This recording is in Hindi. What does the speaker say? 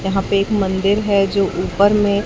यहां पे एक मंदिर है जो ऊपर में--